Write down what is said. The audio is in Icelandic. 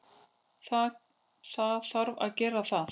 Það þarf að gera það.